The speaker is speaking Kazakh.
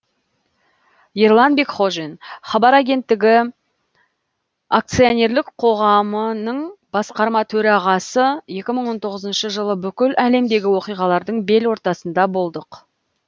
ерлан бекхожин хабар агенттігі акционерлік қоғамының басқарма төрағасы екі мың он тоғызыншы жылы бүкіл әлемдегі оқиғалардың бел ортасында болдық